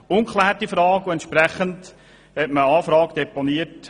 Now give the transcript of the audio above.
Entsprechend hat man Anfang Woche eine Anfrage deponiert.